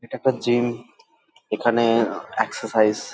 এটা একটা জিম এখানে এক্সেসাইজ --